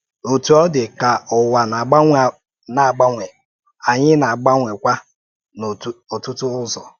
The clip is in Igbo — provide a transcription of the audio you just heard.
Ọ́tụ́ ọ dị, ka ụwa na-agbanwe, na-agbanwe, anyị na-agbanwekwa n’ọtụtụ ụzọ.